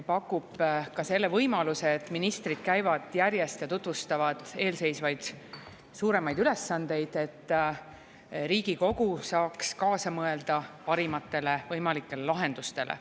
See on võimalus, et ministrid käivad järjest ja tutvustavad eelseisvaid suuremaid ülesandeid, et Riigikogu saaks kaasa mõelda parimatele võimalikele lahendustele.